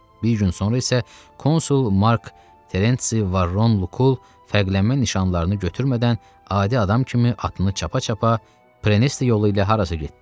Bir gün sonra isə konsul Mark Terensi Varron Lukul fərqlənmə nişanlarını götürmədən adi adam kimi atını çapa-çapa Preneste yolu ilə harasa getdi.